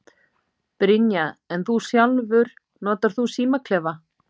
Brynja: En þú sjálfur, notar þú símaklefa?